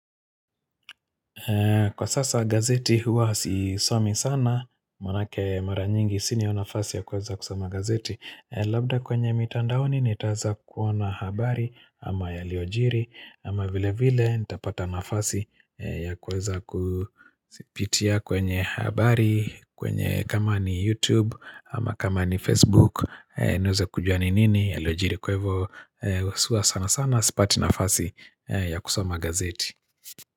Kwa sasa gazeti huwa sisomi sana, maanake mara nyingi sina hiyo nafasi ya kuweza kusoma gazeti Labda kwenye mitandao nitaeza kuona habari ama yaliyojiri ama vile vile nitapata nafasi ya kuweza kuzipitia kwenye habari kwenye kama ni youtube ama kama ni facebook niweze kujua ni nini yaliojiri kwa hivyo sana sana sipati nafasi ya kusama gazeti.